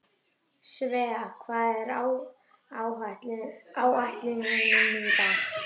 Svea, hvað er á áætluninni minni í dag?